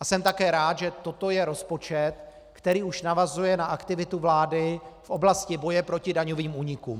A jsem také rád, že toto je rozpočet, který už navazuje na aktivitu vlády v oblasti boje proti daňovým únikům.